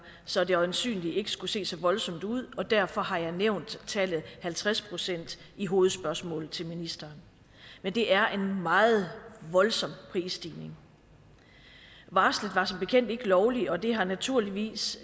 så det øjensynligt ikke skulle se så voldsomt ud og derfor har jeg nævnt tallet halvtreds procent i hovedspørgsmålet til ministeren men det er en meget voldsom prisstigning varslet var som bekendt ikke er lovligt og det har naturligvis